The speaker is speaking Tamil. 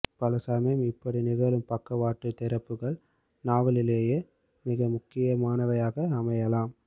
பலசமயம் இப்படி நிகழும் பக்கவாட்டு திறப்புகள் நாவலிலேயே மிக முக்கியமானவையாக அமையலாம்